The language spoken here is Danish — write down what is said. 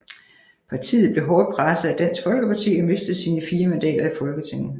Partiet blev hårdt presset af Dansk Folkeparti og mistede sine fire mandater i Folketinget